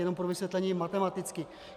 Jenom pro vysvětlení matematicky.